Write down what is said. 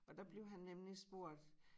Og der blev han nemlig spurgt